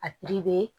A